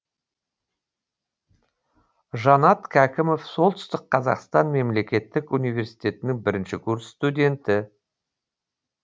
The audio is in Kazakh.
жанат кәкімов солтүстік қазақстан мемлекеттік университетінің бірінші курс студенті